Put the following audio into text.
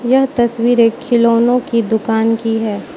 यह तस्वीर एक खिलौनो की दुकान की है।